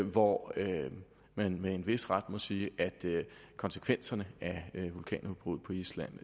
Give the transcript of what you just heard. hvor man med en vis ret må sige at konsekvenserne af vulkanudbruddet i island